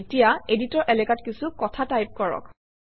এতিয়া এডিটৰ এলেকাত কিছু কথা টাইপ কৰক